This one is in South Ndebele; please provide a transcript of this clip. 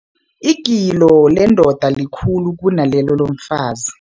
Igilo lendoda likhulu kunalelo lomfazi.